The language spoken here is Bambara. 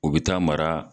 U bɛ taa mara